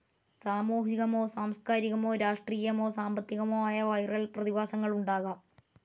സാമൂഹികമോ സാംസ്ക്കാരികമോ രാഷ്ട്രീയമോ സാമ്പത്തികമോ ആയ വിരൽ പ്രതിഭാസങ്ങളുണ്ടാകാം.